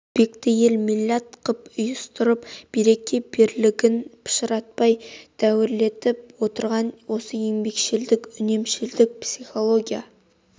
өзбекті ел милләт қып ұйыстырып береке-бірлігін пышыратпай дәуірлетіп отырған осы еңбекшілдік үнемшілдік психология